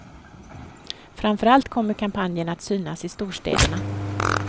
Framför allt kommer kampanjen att synas i storstäderna.